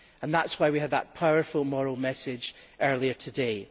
And that is why we had that powerful moral message earlier today.